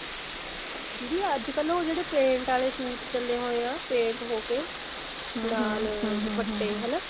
ਦੀਦੀ ਅੱਜਕਲ ਉਹ ਜਿਹੜੇ paint ਵਾਲੇ suit ਚੱਲੇ ਹੋਏ ਆ paint ਹੋਕੇ ਨਾਲ ਦੁਪੱਟੇ ਹਨਾ